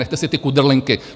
Nechte si ty kudrlinky!